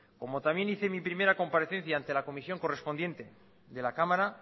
como también hice mi primera comparecencia ante la comisión correspondiente de la cámara